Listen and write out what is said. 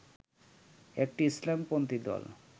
একটি ইসলামপন্থী দল